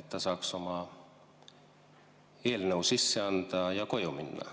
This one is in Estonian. et ta saaks oma eelnõu sisse anda ja koju minna?